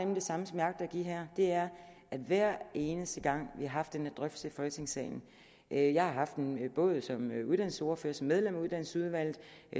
det samme som jeg agter at give her det er at hver eneste gang vi har haft den her drøftelse i folketingssalen jeg har haft den både som uddannelsesordfører som medlem af uddannelsesudvalget